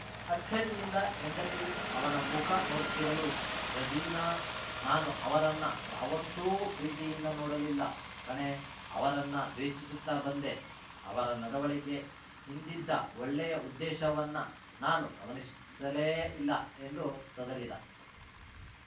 ಅಚ್ಚರಿಯಿಂದ ಹೆಂಡತಿ ಅವನ ಮುಖ ನೋಡುತ್ತಿರಲು ರಜೀನಾ ನಾನು ಅವರನ್ನ ಯಾವತ್ತೂ ಪ್ರೀತಿಯಿಂದ ನೋಡಲಿಲ್ಲ ಕಣೇಅವರನ್ನ ದ್ವೇಷಿಸುತ್ತ ಬಂದೆಅವರ ನಡುವಳಿಕೆ ಹಿಂದಿದ್ದ ಒಳ್ಳೆಯ ಉದ್ದೇಶವನ್ನ ನಾನು ಗಮನಿಸುತ್ತಲೇ ಇಲ್ಲ ಎಂದು ತೊದಲಿದ